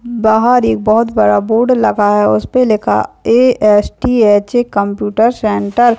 बहार एक बहोत बड़ा बोर्ड लगा हुवा उस पे लिखा A. S. T H. Computer centre |